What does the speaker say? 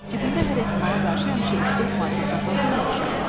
Cibində hər ehtimala qarşı həmişə üç-dörd marka saxlasan yaxşı olar.